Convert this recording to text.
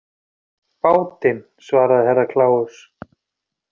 Bátinn, svaraði Herra Kláus.